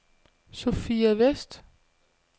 Sophia Vest